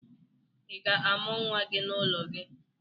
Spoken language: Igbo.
Ị ga-amụ nwa gị n'ụlọ gị?